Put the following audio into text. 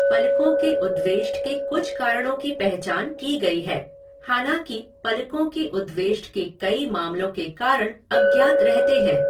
पलकों के उद्वेष्ट के कुछ कारणों की पहचान की गई है, हालांकि पलकों के उद्वेष्ट के कई मामलों के कारण अज्ञात रहते हैं।